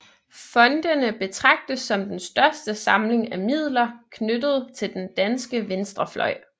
Fondene betragtes som den største samling af midler knyttet til den danske venstrefløj